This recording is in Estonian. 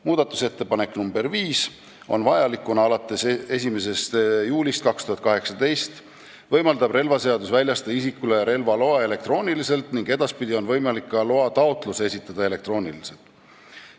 Muudatusettepanek nr 5 on vajalik alates 1. juulist 2018, kui relvaseaduse kohaselt võib isikule väljastada relvaloa elektrooniliselt ning edaspidi on võimalik ka loataotlus esitada elektrooniliselt.